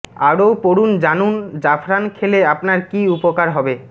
আরও পড়ুন জানুন জাফরান খেলে আপনার কী কী উপকার হবে